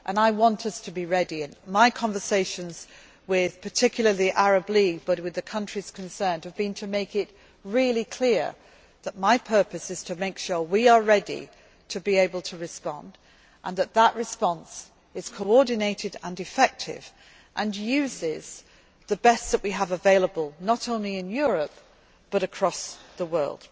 to respond. I want us to be ready and my conversations with, particularly, the Arab League and with the countries concerned have been aimed at making it really clear that my purpose is to make sure we are ready to be able to respond and that that response is coordinated and effective and uses the best that we have available, not only in Europe, but across